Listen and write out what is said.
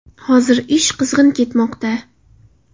Hozir ish qizg‘in ketmoqda.